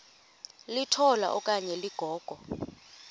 litola okanye ligogo